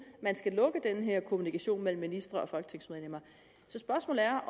man skal lukke den her kommunikation mellem ministre og folketingsmedlemmer så spørgsmålet er